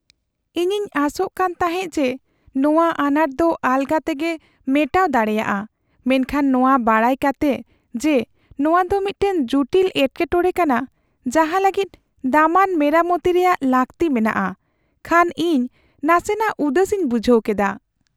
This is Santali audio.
ᱤᱧᱤᱧ ᱟᱥᱚᱜ ᱠᱟᱱ ᱛᱟᱦᱮᱸᱜ ᱡᱮ, ᱱᱚᱣᱟ ᱟᱱᱟᱴ ᱫᱚ ᱟᱞᱜᱟ ᱛᱮᱜᱮ ᱢᱮᱴᱟᱣ ᱫᱟᱲᱮᱭᱟᱜᱼᱟ, ᱢᱮᱱᱠᱷᱟᱱ ᱱᱚᱣᱟ ᱵᱟᱰᱟᱭ ᱠᱟᱛᱮᱜ ᱡᱮ ᱱᱚᱣᱟᱫᱚ ᱢᱤᱫᱴᱟᱝ ᱡᱩᱴᱤᱞ ᱮᱴᱠᱮᱴᱚᱲᱮ ᱠᱟᱱᱟ ᱡᱟᱦᱟᱸ ᱞᱟᱹᱜᱤᱫ ᱫᱟᱢᱟᱱ ᱢᱮᱨᱟᱢᱚᱛᱤ ᱨᱮᱭᱟᱜ ᱞᱟᱹᱠᱛᱤ ᱢᱮᱱᱟᱜᱼᱟ, ᱠᱷᱟᱱ ᱤᱧ ᱱᱟᱥᱮ ᱱᱟᱜ ᱩᱫᱟᱹᱥᱤᱧ ᱵᱩᱡᱷᱟᱹᱣ ᱠᱮᱫᱟ ᱾